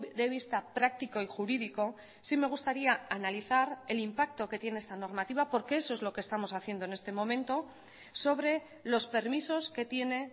de vista práctico y jurídico sí me gustaría analizar el impacto que tiene esta normativa porque eso es lo que estamos haciendo en este momento sobre los permisos que tiene